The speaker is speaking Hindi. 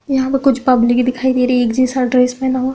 यहाँ पर कुछ पब्लिक दिखाई दे रही एक जैसा ड्रेस पहना हुआ--